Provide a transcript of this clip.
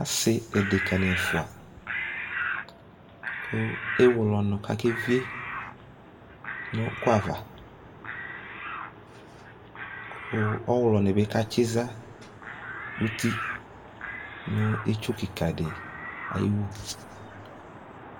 Asi adekani ɛfua kʋ ewle ɔnʋ kʋ akevie nʋ ʋkʋ ava kʋ ɔwlɔni bi katsiza uti nʋ itsu kika di ayiwu